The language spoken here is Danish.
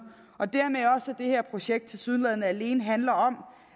og dermed også det her projekt tilsyneladende alene handler om